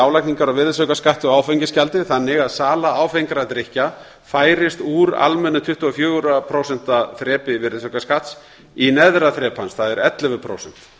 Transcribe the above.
álagningar á virðisaukaskatti og áfengisgjaldi þannig að sala áfengra drykkja færist úr almennu tuttugu og fjögur prósent þrepi virðisaukaskatts í neðra þrep hans það er ellefu prósent